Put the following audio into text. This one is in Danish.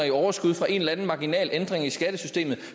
i overskud fra en eller anden marginal ændring i skattesystemet